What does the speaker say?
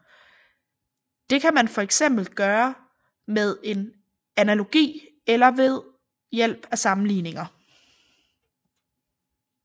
Det kan man for eksempel gøre med en analogi eller ved hjælp af sammenligninger